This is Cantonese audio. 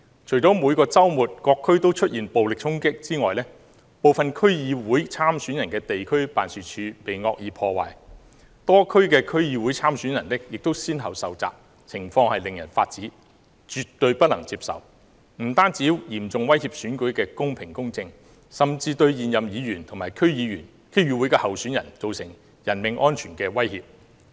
除了每個周末於各區出現的暴力衝擊外，部分區議會參選人的地區辦事處亦被惡意破壞，多區的區議會參選人亦先後受襲，情況令人髮指，絕對不能接受，這樣不單嚴重威脅選舉的公平公正，甚至對現任議員和區議會候選人造成人命安全的威脅。